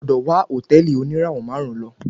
O gbọ́dọ̀ wá hòtẹ́ẹ̀lì oníràwọ̀ máàrún lo.